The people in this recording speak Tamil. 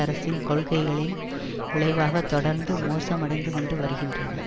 அரசின் கொள்கைகளின் விளைவாக தொடர்ந்து மோசமடைந்து கொண்டு வருகின்றன